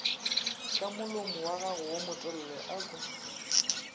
ka molomowagago wo motelele ako